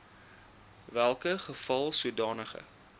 welke geval sodanige